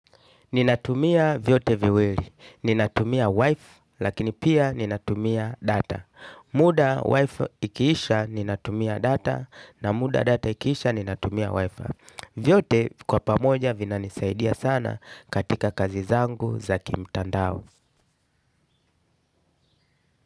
Ninatumia vyote viwili. Ninatumia wifi lakini pia ninatumia data. Muda wifi ikiisha ninatumia data na muda data ikiisha ninatumia wifi. Vyote kwa pamoja vinanisaidia sana katika kazi zangu za kimtandao.